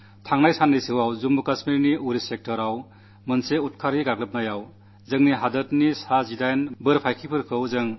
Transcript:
കഴിഞ്ഞ ദിവസങ്ങളിൽ ജമ്മുകശ്മീരിന്റെ ഉറി സെക്ടറിൽ ഉണ്ടായ ഒരു തീവ്രവാദി ആക്രമണത്തിൽ നമ്മുടെ രാജ്യത്തിന്റെ 18 വീരപുത്രന്മാരെ നമുക്കു നഷ്ടപ്പെട്ടു